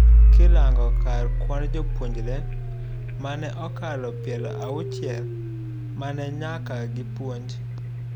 Kirango kar kwand jopuyonjre, mane okalo piero auchiel, mane nyaka gipuonj.